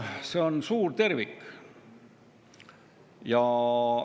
See on suur tervik.